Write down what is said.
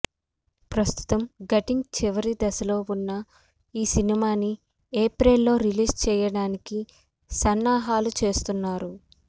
ప్రస్తుతం షూటింగ్ చివరి దశలో ఉన్న ఈ సినిమాని ఏప్రిల్ లో రిలీజ్ చేయడానికి సన్నాహాలు చేస్తున్నారు